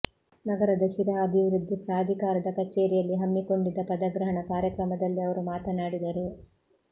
ನಗರದ ಶಿರಾ ಅಭಿವೃದ್ಧಿ ಪ್ರಾಧಿಕಾರದ ಕಚೇರಿಯಲ್ಲಿ ಹಮ್ಮಿಕೊಂಡಿದ್ದ ಪದಗ್ರಹಣ ಕಾರ್ಯಕ್ರಮದಲ್ಲಿ ಅವರು ಮಾತನಾಡಿದರು